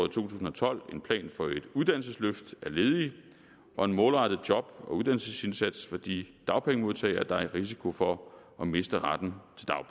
tusind og tolv en plan for et uddannelsesløft af ledige og en målrettet job og uddannelsesindsats for de dagpengemodtagere der er i risiko for at miste retten